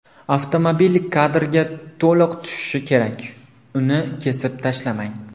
Avtomobil kadrga to‘liq tushishi kerak, uni kesib tashlamang!